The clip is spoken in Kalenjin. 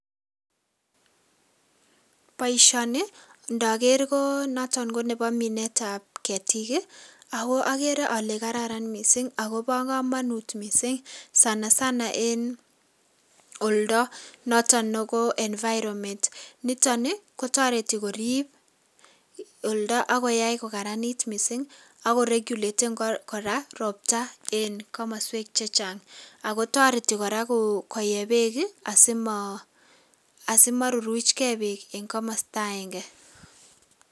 Boisioni ndagere ko noton ko nebo minetab ketik, aku agere ale kararan mising akobo kamanut mising, sanasana eng oldo noton ko environment. Nitoni ko toreti koriib olda akuyai ko karanit mising aku regulaten kora robta eng komoswek che chang. Akutoreti kora koye beek asima, ruruch ge beek eng komasta aenge.